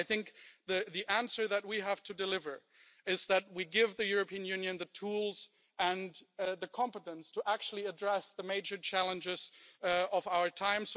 So I think the answer that we have to deliver, is that we give the European Union the tools and the competence to actually address the major challenges of our time.